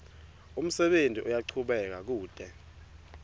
umsebenti uyachubeka kute